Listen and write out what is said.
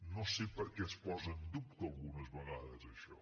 no sé per què es posa en dubte algunes vegades això